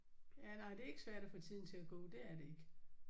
Ja nej det er ikke svært at få tiden til at gå det er det ikke